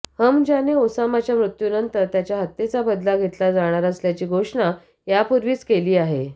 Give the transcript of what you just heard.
हमजाने ओसामाच्या मृत्यूनंतर त्याच्या हत्येचा बदला घेतला जाणार असल्याची घोषणा यापूर्वीच केली आहे